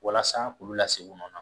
Walasa k'olu lasegin u nɔ nan.